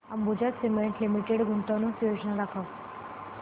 Ambuja cement limited गुंतवणूक योजना दाखव